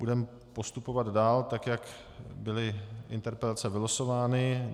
Budeme postupovat dál, tak jak byly interpelace vylosovány.